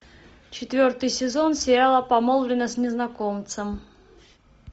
четвертый сезон сериала помолвлена с незнакомцем